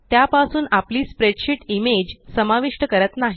त्यापासून आपली spreadsheet image समाविष्ट करत नाही